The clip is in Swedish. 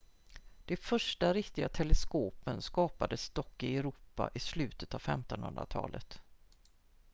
de första riktiga teleskopen skapades dock i europa i slutet av 1500-talet